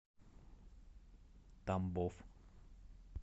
тамбов